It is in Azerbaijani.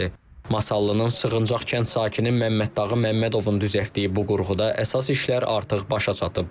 Masallının Sığıncaq kənd sakini Məmməddağı Məmmədovun düzəltdiyi bu qurğuda əsas işlər artıq başa çatıb.